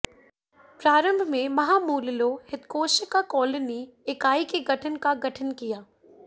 प्रारंभ में महामूललोहितकोशिका कॉलोनी इकाई के गठन का गठन किया